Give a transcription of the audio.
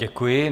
Děkuji.